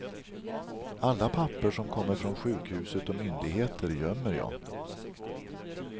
Alla papper som kommer från sjukhuset och myndigheter gömmer jag.